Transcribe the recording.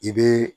I bɛ